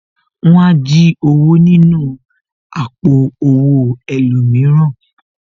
Wọn á jí owó nínú àpò owó ẹlòmíràn